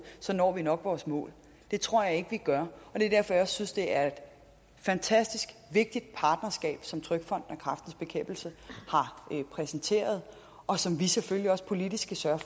så når vi nok vores mål det tror jeg ikke vi gør og det er derfor jeg også synes det er et fantastisk vigtigt makkerskab som trygfonden og kræftens bekæmpelse har præsenteret og som vi selvfølgelig også politisk skal sørge